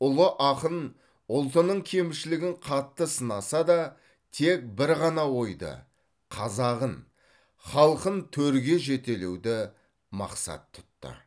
ұлы ақын ұлтының кемшілігін қатты сынаса да тек бір ғана ойды қазағын халқын төрге жетелеуді мақсат тұтты